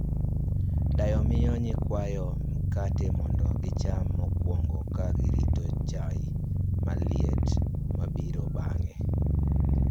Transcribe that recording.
Dayo miyo nyikwayo mkati mondo gicham mokwongo ka girito chai maliet mabiro bang'e